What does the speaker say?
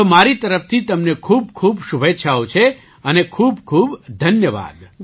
તો મારી તરફથી તમને ખૂબ ખૂબ શુભેચ્છાઓ છે અને ખૂબખૂબ ધન્યવાદ